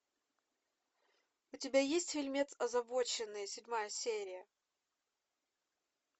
у тебя есть фильмец озабоченные седьмая серия